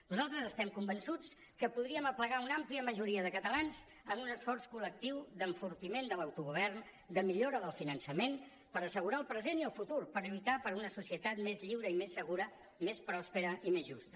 nosaltres estem convençuts que podríem aplegar una àmplia majoria de catalans en un esforç col·lectiu d’enfortiment de l’autogovern de millora del finançament per assegurar el present i el futur per lluitar per una societat més lliure i més segura més pròspera i més justa